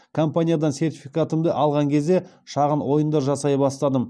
компаниядан сертификатымды алған кезде шағын ойындар жасай бастадым